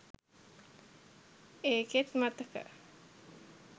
ඒකෙත් මතක